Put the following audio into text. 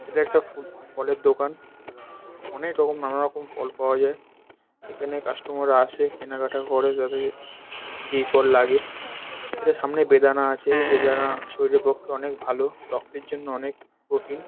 এটা একটা ফুল ফলের দোকান অনেক রকম নানা রকম ফল পাওয়া যায় এখানে কাস্টমাররা আসে কেনাকাটা করে তাদের যেই ফল লাগে এটা সামনে বেদানা আছে। বেদানা শরীরের পক্ষে অনেক ভালো রক্তের জন্য অনেক প্রোটিন ।